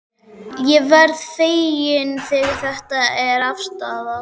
Ég verð feginn þegar þetta er afstaðið.